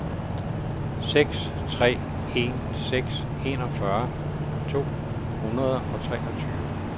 seks tre en seks enogfyrre to hundrede og treogtyve